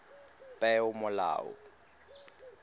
peomolao